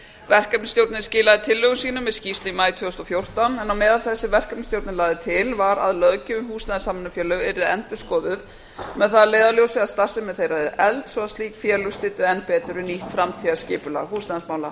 verkefnisstjórnin skilaði tillögum sínum með skýrslu í maí tvö þúsund og fjórtán en á meðal þess sem verkefnisstjórnin lagði til var að löggjöf um húsnæðissamvinnufélög yrðu endurskoðuð með það að leiðarljósi að starfsemi þeirra yrði efld svo að slík félög styddu enn betur við nýtt framtíðarskipulag húsnæðismála